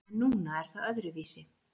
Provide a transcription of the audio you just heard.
En núna er það öðruvísi.